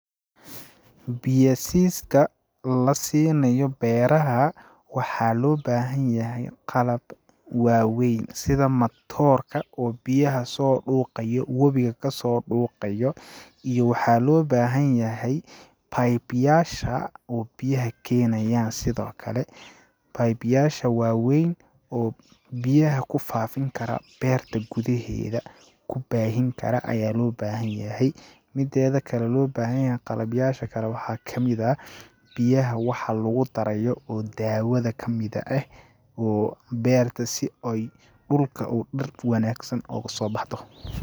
Biya siiska la siinayo beeraha ,waxaa loo baahan yahay qalab waa weyn ,sida matoorka oo biyaha soo dhuuqayo wabiga kasoo dhuuqayo ,iyo waxaa loo baahan yahay pipe yaasha oo biyaha keenayaan ,sidoo kale pipe yaasha waa weyn oo biyaha ku faafin kara beerta gudaheeda ,ku baahin kara ayaa loo baahan yahay ,mideeda kale loo baahan yahay qalab yaasha kale loo baahan yahay waxaa kamid ah ,biyaha waxa lagu darayo oo daawada kamid eh ,oo beerta si ooy dhulka oo dhir wanaagsan ooga soo baxdo.